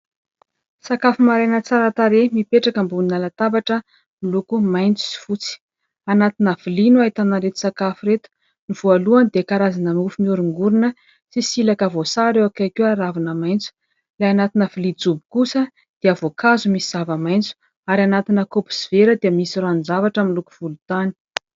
Sakafo maraina tsara tarehy, mipetraka ambony latabatra miloko maitso sy fotsy. Anatina vilia no ahitana an'ireto sakafo ireto : ny voalohany dia karazana mofo mioringorina sy silaka voasary eo akaiky eo ary ravina maitso. Ilay anatina vilia jobo kosa dia voankazo misy zavamaitso, ary anatina kaopy sy vera dia misy ranon-javatra miloko volontany.